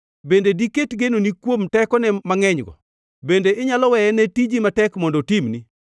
Bende diket genoni kuom tekone mangʼenygo? Bende inyalo weye ne tiji matek mondo otimni?